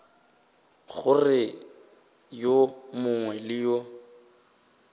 gore yo mongwe le yo